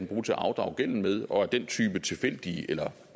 bruge til at afdrage gælden med og at den type tilfældige eller